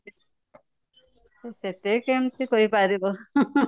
ସେତେ କେମିତି କହିପାରିବ